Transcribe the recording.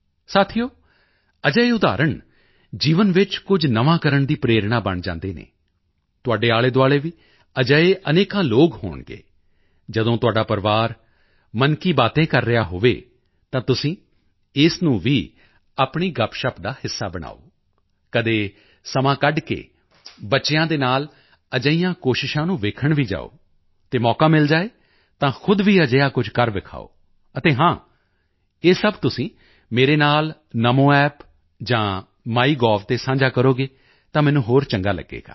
ਸਾਥੀਓ ਅਜਿਹੇ ਉਦਾਹਰਣ ਜੀਵਨ ਵਿੱਚ ਕੁਝ ਨਵਾਂ ਕਰਨ ਦੀ ਪ੍ਰੇਰਣਾ ਬਣ ਜਾਂਦੇ ਹਨ ਤੁਹਾਡੇ ਆਲੇਦੁਆਲੇ ਵੀ ਅਜਿਹੇ ਅਨੇਕਾਂ ਲੋਕ ਹੋਣਗੇ ਜਦੋਂ ਤੁਹਾਡਾ ਪਰਿਵਾਰ ਮਨ ਕੀ ਬਾਤੇਂ ਕਰ ਰਿਹਾ ਹੋਵੇ ਤਾਂ ਤੁਸੀਂ ਇਸ ਨੂੰ ਵੀ ਆਪਣੀ ਗੱਪਸ਼ੱਪ ਦਾ ਹਿੱਸਾ ਬਣਾਓ ਕਦੇ ਸਮਾਂ ਕੱਢ ਕੇ ਬੱਚਿਆਂ ਦੇ ਨਾਲ ਅਜਿਹੀਆਂ ਕੋਸ਼ਿਸ਼ਾਂ ਨੂੰ ਦੇਖਣ ਵੀ ਜਾਓ ਅਤੇ ਮੌਕਾ ਮਿਲ ਜਾਏ ਤਾਂ ਖੁਦ ਵੀ ਅਜਿਹਾ ਕੁਝ ਕਰ ਦਿਖਾਓ ਅਤੇ ਹਾਂ ਇਹ ਸਭ ਤੁਸੀਂ ਮੇਰੇ ਨਾਲ NamoApp ਜਾਂ ਮਾਈਗੋਵ ਤੇ ਸਾਂਝਾ ਕਰੋਗੇ ਤਾਂ ਮੈਨੂੰ ਹੋਰ ਚੰਗਾ ਲੱਗੇਗਾ